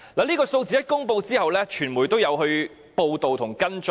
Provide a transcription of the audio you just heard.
這個數字公布後，傳媒也有報道和跟進。